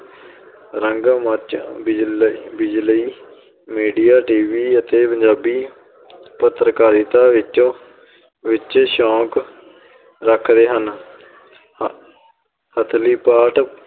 ਰੰਗ ਮੰਚ, ਬਿਜਲ~ ਬਿਜਲਈ media TV ਅਤੇ ਪੰਜਾਬੀ ਪੱਤਰਕਾਰਿਤਾ ਵਿੱਚ ਵਿੱਚ ਸ਼ੌਕ ਰੱਖਦੇ ਹਨ ਹ~ ਹਥਲੀ ਪਾਠ